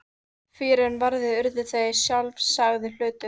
Fyrr en varði urðu þær sjálfsagður hlutur.